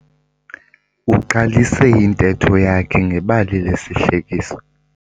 Uqalise intetho yakhe ngebali lesihlekiso.